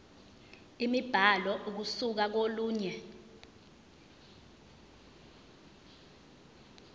imibhalo ukusuka kolunye